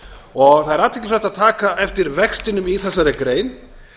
og það er athyglisvert að taka eftir vextinum í þessari grein